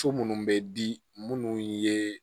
So munnu bɛ di munnu ye